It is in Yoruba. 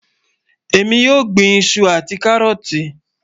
Ẹ̀mi yóò gbìn ìṣù àti kárọ́ọ̀tì.